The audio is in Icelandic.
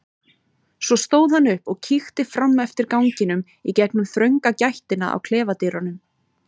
Svo stóð hann upp og kíkti fram eftir ganginum í gegnum þrönga gættina á klefadyrunum.